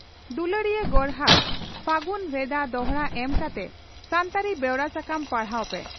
ᱫᱩᱞᱟᱹᱲᱤᱭᱟᱹ ᱜᱚᱨᱦᱟᱠ ᱯᱷᱟᱹᱜᱩᱱ ᱵᱷᱮᱫᱟ ᱫᱚᱦᱲᱟ ᱮᱢ ᱠᱟᱛᱮ ᱥᱟᱱᱛᱟᱲᱤ ᱵᱮᱣᱨᱟ ᱥᱟᱠᱟᱢ ᱯᱟᱲᱦᱟᱣ ᱯᱮ